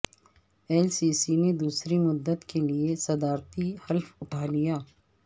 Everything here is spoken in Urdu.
السیسی نے دوسری مدت کے لیے صدارتی حلف اٹھا لیا